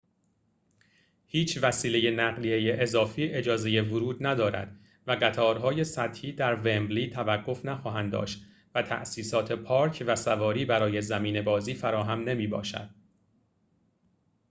هیچ وسیله نقلیه‌ای اضافی اجازه ورود ندارد و قطارهای سطحی در ومبلی توقف نخواهند داشت و تأسیسات پارک و سواری برای زمین بازی فراهم نمی‌باشد